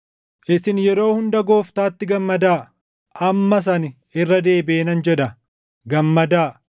Isin yeroo hunda Gooftaatti gammadaa. Ammas ani irra deebiʼee nan jedha, gammadaa!